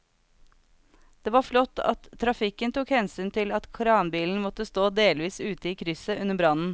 Det var flott at trafikken tok hensyn til at kranbilen måtte stå delvis ute i krysset under brannen.